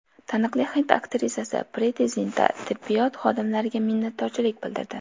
Taniqli hind aktrisasi Priti Zinta tibbiyot xodimlariga minnatdorchilik bildirdi.